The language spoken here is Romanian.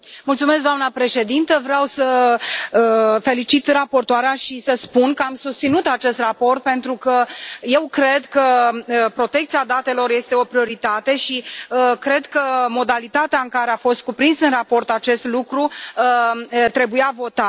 Doamnă președintă, vreau să felicit raportoarea și să spun că am susținut acest raport pentru că eu cred că protecția datelor este o prioritate și cred că modalitatea în care a fost cuprins în raport acest lucru trebuia votat.